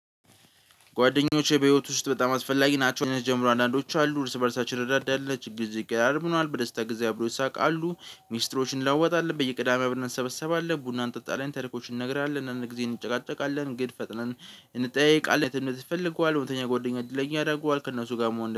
ጓደኞቼ በህይወቴ ውስጥ በጣም አስፈላጊ ናቸው። ጀምሮ አንዳንዶቹ አሉ እርስ በእርሳችን እንረዳዳለን ችግር ጊዜ እንቀራረባለን በደስታ ጊዜ አብረን እንስቃለን። አሉ ሚስጥሮችን እንለዋወጣለን በየቅዳሜ አብርን እሰበሰባለን ቡና እንጠጣለን ታሪኮችን እንነጋገራለን። አንድአንድ ጊዜ እንጨቃጨቃለን ግን ፈጥነን እንጠያየቃለን። ይፈልገዋል ወይም ደግሞ ጓደኛ እድለኛ ያደርገዋል። ከእነሱ ጋር መሆን